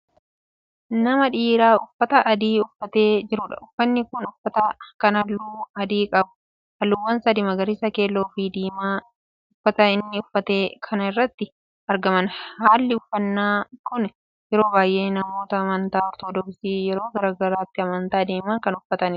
Nama dhiiraa uffata adii uffatee jiruudha. uffaani inni uffate Kun halluu adii qaba. halluuwwan sadi:magariisa, keelloofi, diimaa uffata inni uffate kana irraatti argaman. hallii uffannaa Kuni yeroo baay'ee namoonni amantaa ortodoksii yeroo gara mana amantaa deeman Kan uffataniidha.